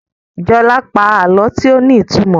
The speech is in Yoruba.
Jola pa àlọ tíó ní ìtumọ̀.